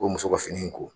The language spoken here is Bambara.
O muso ka fini ko